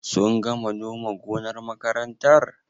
Sun gama noma gonar makarantar?